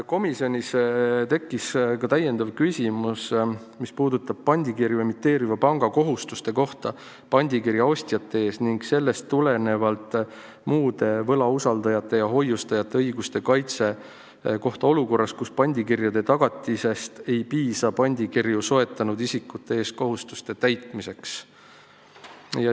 Komisjonis tekkis küsimus, mis puudutab pandikirju emiteeriva panga kohustusi pandikirja ostjate ees ning sellest tulenevalt muude võlausaldajate ja hoiustajate õiguste kaitset olukorras, kus pandikirjade tagatisest ei piisa pandikirju soetanud isikute ees kohustuste täitmiseks.